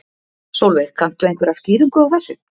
Sólveig: Kanntu einhverja skýringu á þessu?